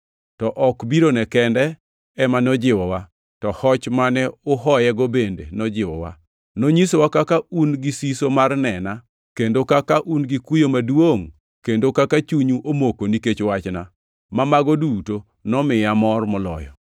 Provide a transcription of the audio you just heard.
to ok birone kende ema nojiwowa, to hoch mane uhoyego bende nojiwowa. Nonyisowa kaka un gi siso mar nena, kendo kaka un gi kuyo maduongʼ, kendo kaka chunyu omoko nikech wachna, ma mago duto nomiya amor moloyo.